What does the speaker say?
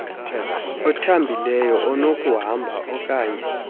othambileyo onokuhamba oaknye